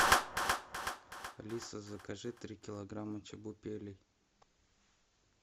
алиса закажи три килограмма чебупелей